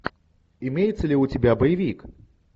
имеется ли у тебя боевик